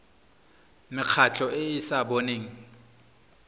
mekgatlho e e sa boneng